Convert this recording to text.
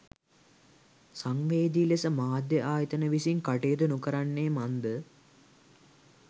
සංවේදී ලෙස මාධ්‍ය ආයතන විසින් කටයුතු නොකරන්නේ මන්ද